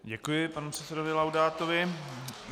Děkuji panu předsedovi Laudátovi.